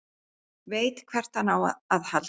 Veit hvert hann á að halda.